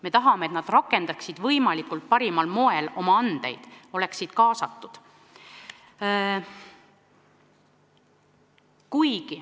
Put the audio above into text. Me tahame, et nemadki rakendaksid parimal moel oma andeid, oleksid kaasatud.